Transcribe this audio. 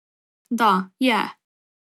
Da, je.